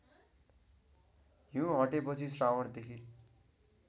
हिँउ हटेपछि श्रावणदेखि